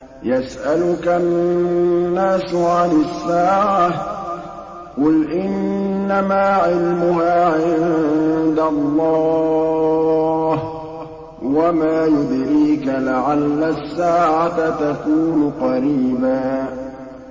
يَسْأَلُكَ النَّاسُ عَنِ السَّاعَةِ ۖ قُلْ إِنَّمَا عِلْمُهَا عِندَ اللَّهِ ۚ وَمَا يُدْرِيكَ لَعَلَّ السَّاعَةَ تَكُونُ قَرِيبًا